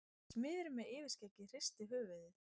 Smiðurinn með yfirskeggið hristir höfuðið.